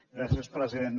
gràcies president